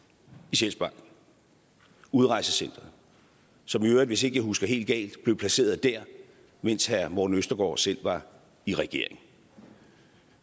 i sjælsmark udrejsecenteret som i øvrigt hvis ikke jeg husker helt galt blev placeret der mens herre morten østergaard selv var i regering